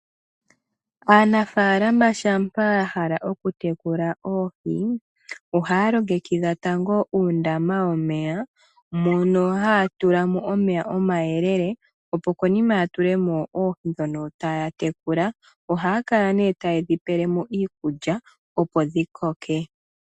Aanafaalama shampa ya hala okutekula oohi, ohaya longekidha tango uundama womeya , mono haa tula mo omeya omayelele, opo konima ya tule mo oohi dhono taya tekula, ohaya kala nee taye dhi pele mo iikulya opo dhi koke.